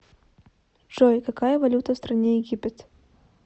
джой какая валюта в стране египет